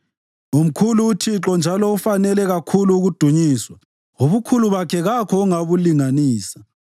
Umkhulu uThixo njalo ufanele kakhulu ukudunyiswa; ubukhulu bakhe kakho ongabulinganisa.